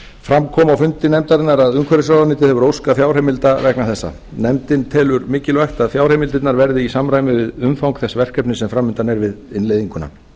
fram kom á fundi nefndarinnar að umhverfisráðuneytið hefur óskað fjárheimilda vegna þessa nefndin telur mikilvægt að fjárheimildirnar verði í samræmi við umfang þess verkefnis sem fram undan er við innleiðinguna